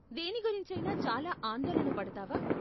దేని గురించి అయినా చాలా ఆందోళన పడతావా?